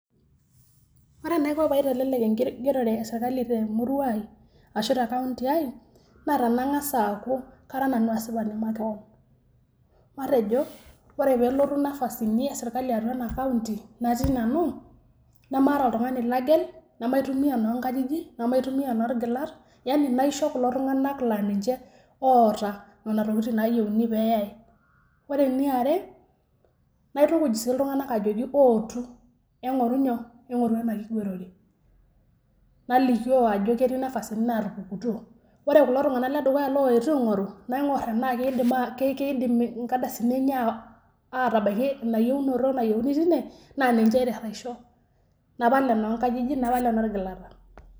Ore enaiko pee aitelelek enkigerore e serkali tumurua ai aashu te kaunti ai naa tenangas aaku asipani makewan, matejo, ore pee elotu nafasini e serkali atua ena kaunti natii nanu nemaata oltungani lagel, nemaitumiya enoonkajijik, nemaitumiya enoorgilat, yaani naisho kulo tunganak laa ninche oota nena tokitin naayieuni pee eyai ,ore ene are, naitukuj sii iltunganaka ajoki ootu engoru nyoo? engoru ena kigerorre nalikio ajo ketii nafasini naatupukutuo ,ore kulo tunganak ledukuya looyetuo aingoru naingorr tena keidim inkardasni enye aatabaiki ina yienoto nayieuni teine naa ninche aiterr aisho napal enoonkajijik napal enolgilata.